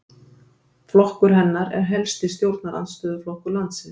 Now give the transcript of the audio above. Flokkur hennar er helsti stjórnarandstöðuflokkur landsins